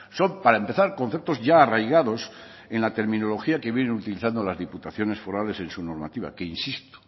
son para empezar conceptos ya arraigados en la terminología que viene utilizando las diputaciones forales en su normativa que insisto